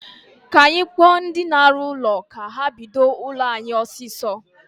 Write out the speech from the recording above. Kaa anyị kpọọ ndi na-arụ ụlọ ka ha bido ụlọ anyị ọsịsọ